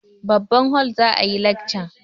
Babban hol za a yi lekcan.